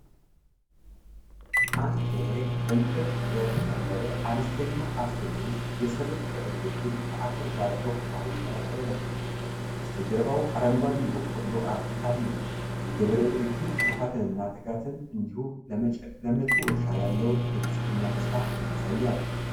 አንድ ገበሬ በእንጨት በተከለለ አነስተኛ አትክልት ውስጥ የሰብል ቅሪቶችን ከዐፈር ጋር በቁፋሮ እየቀላቀለ ነው። በስተጀርባው አረንጓዴ የበቆሎ አትክልት አለ። የገበሬው ድርጊት ልፋትንና ትጋትን እንዲሁም ለመጪው እርሻ ያለውን የብልፅግና ተስፋ ያሳያል።